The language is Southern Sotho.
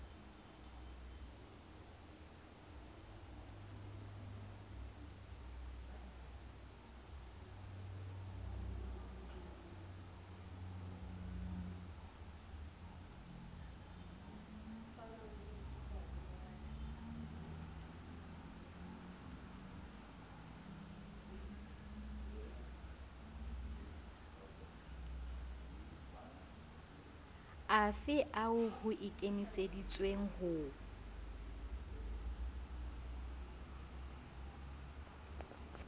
afe ao ho ikemiseditsweng ho